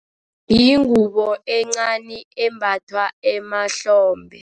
Yingubo encani embathwa emahlombe.